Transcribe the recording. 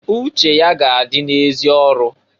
Uche ya ga -adị na -ezi ọrụ.